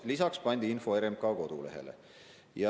Lisaks pandi info RMK kodulehele.